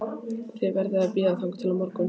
Þið verðið að bíða þangað til á morgun